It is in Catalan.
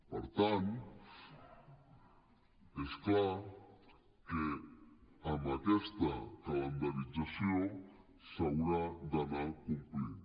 per tant és clar que amb aquesta calendarització s’hauria d’anar complint